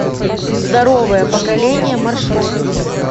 здоровое поколение маршрут